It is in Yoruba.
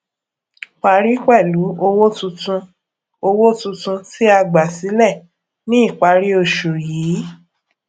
parí pẹlú owó tuntun owó tuntun tí a gbà sílẹ ní ìparí oṣù yìí